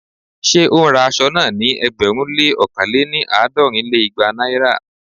Ṣé ó ń ra aṣọ náà ní ẹgbẹ̀rún lé ókàn lé-ní- àádọ́rin lé igba Naira?